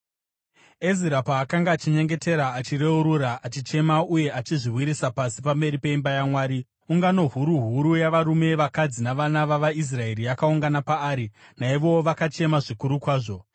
Ezira paakanga achinyengetera achireurura, achichema uye achizviwisira pasi pamberi peimba yaMwari, ungano huru huru yavarume, vakadzi navana vavaIsraeri yakaungana paari. Naivowo vakachema zvikuru kwazvo.